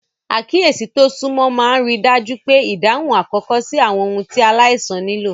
Àkíyèsí tó súnmọ́ máa ń rí i dájú pé ìdáhùn àkókò sí àwọn ohun tí aláìsàn nílò.